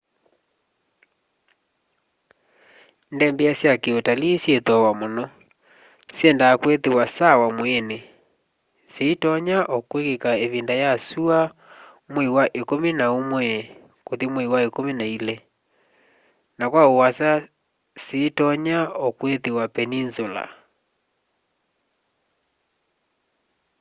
ndembea sya ki utalii syi thooa muno syendaa kwithiwa sawa mwiini sitonya o kwikika ivinda ya syua nwei wa ikumi na umwe kuthi mwei wa ikumi na ili na kwa uasa sitonya o kwithiwa peninsula